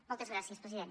moltes gràcies president